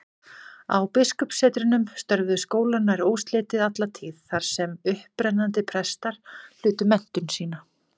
Á biskupssetrunum störfuðu skólar nær óslitið alla tíð, þar sem upprennandi prestar hlutu menntun sína.